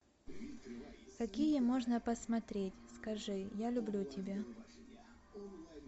какие можно посмотреть скажи я люблю тебя